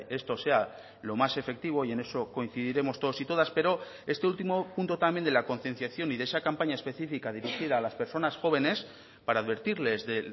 esto sea lo más efectivo y en eso coincidiremos todos y todas pero este último punto también de la concienciación y de esa campaña específica dirigida a las personas jóvenes para advertirles de